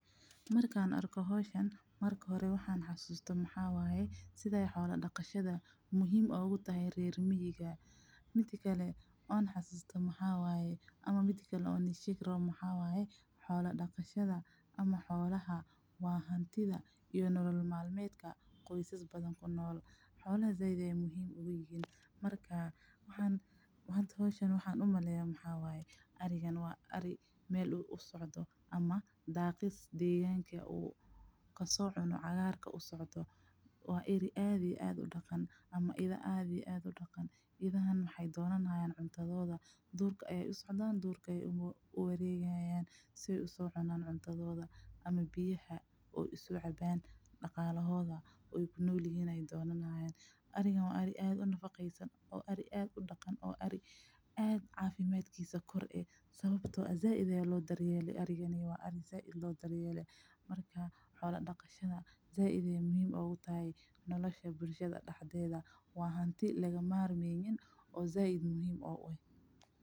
Markan arko howshan marka hore waxan xasuusto maxa wayee, sidhaay xola daqashadha muhiim oogu tahay reer miyiga. Midi kale on xasuusto maxa wayee ama midi kale on idhin shegi rawo maxa wayee, xola daqashadha ama xolaha waa hantidha iyo nolo malmedka qoysas badhan kunol. Xolaha zaid ayay muhiim u yihiin, marka manta howshan waxan u maleeya maxa wayee, aarigan wa aari mel u socdho ama daaqis deeganka uu kasocuno cagaarka u socdho, wa eeri aad iyo aad u daqan ama idha aad iyo aad u daqan. Idhahan maxaay doonanhayan cuntadhoodha, duurka ayay u socdan, duurka aya uwareegahayan si ay u so cunan cuntadhoodha ama biyaha ay u so caban daqalahodha ooy kunolyihin ay donanhayan. Aarigan wa aari aad u nafaqeysan oo aari aad u daqan oo aad cafimadkisa koor ee sawabto ah zaid aya loo daryele marka xola daqashadha zaid ayay muhim ogu tahay nolosha bulshadha daxdedh, waa hanti laga marmeynin oo zaid muhiim ogu eeh.